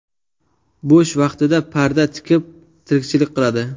Bo‘sh vaqtida parda tikib tirikchilik qiladi.